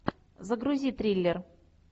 загрузи триллер